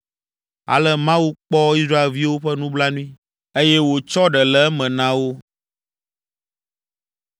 Ale Mawu kpɔ Israelviwo ƒe nublanui, eye wòtsɔ ɖe le eme na wo.